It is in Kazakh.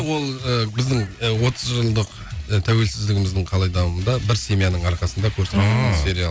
ол ы біздің ы отыз жылдық ы тәуелсіздігіміздің қалай дамуында бір семьяның арқасында көрсететін ыыы сериал